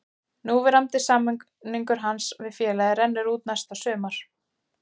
Núverandi samningur hans við félagið rennur út næsta sumar.